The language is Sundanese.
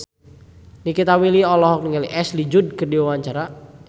Nikita Willy olohok ningali Ashley Judd keur diwawancara